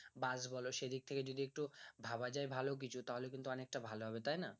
বাস বলো সেদিক থেকে যদি একটু ভাবা যাই ভালো কিছু তাহলে কিন্তু অনেকটা ভালো হবে তাই না